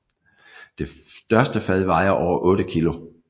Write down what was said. Det største fad vejer over 8 kg